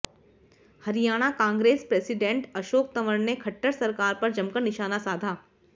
Haryana Congress president Ashok Tanwar ने खट्टर सरकार पर जमकर निशाना साधा